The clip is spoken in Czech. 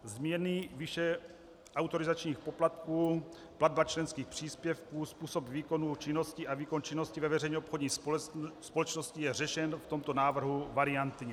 Změny výše autorizačních poplatků, platba členských příspěvků, způsob výkonu činnosti a výkon činnosti ve veřejně obchodní společnosti je řešen v tomto návrhu variantně.